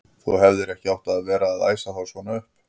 Þú hefðir ekki átt að vera að æsa þá svona upp!